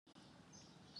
Ba kiti ya chokola.